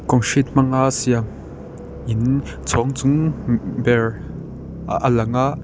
concrete hmanga siam in chhawng chung ber a a lang a.